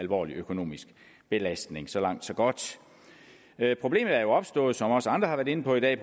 alvorlig økonomisk belastning så langt så godt problemet er jo opstået som også andre har været inde på i dag